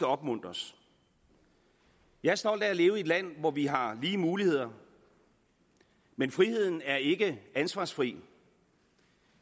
opmuntres jeg er stolt af at leve i et land hvor vi har lige muligheder men friheden er ikke ansvarsfri